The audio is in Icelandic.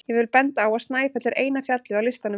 Ég vil benda á að Snæfell er eina fjallið á listanum.